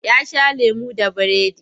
Ya sha lemo da biredi.